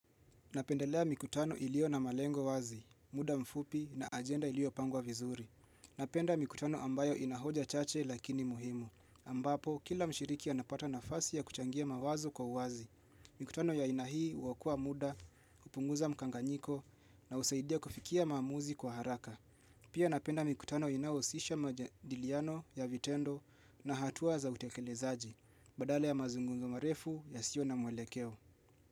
Napendelea mikutano iliyo na malengo wazi, muda mfupi na ajenda iliyopangwa vizuri. Napenda mikutano ambayo inahoja chache lakini muhimu. Ambapo, kila mshiriki anapata nafasi ya kuchangia mawazo kwa uwazi. Mikutano ya aina hii huokoa muda, hupunguza mkanganyiko na husaidia kufikia maamuzi kwa haraka. Pia napenda mikutano inayohusisha majadiliano ya vitendo na hatua za utekelezaji. Badale ya mazungumzo marefu yasiyo na mwelekeo.